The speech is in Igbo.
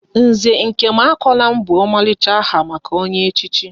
Nze Nkemakonam bụ omalicha aha maka onye echichi